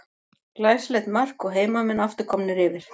Glæsilegt mark og heimamenn aftur komnir yfir.